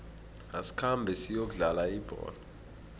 asikhambe siyokudlala ibholo